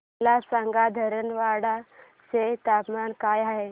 मला सांगा धारवाड चे तापमान काय आहे